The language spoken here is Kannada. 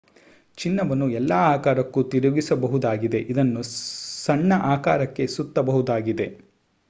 ಚಿನ್ನವನ್ನು ಎಲ್ಲ ಆಕಾರಕ್ಕೂ ತಿರುಗಿಸಬಹುದಾಗಿದೆ ಇದನ್ನು ಸಣ್ಣ ಆಕಾರಕ್ಕೆ ಸುತ್ತಬಹುದಾಗಿದೆ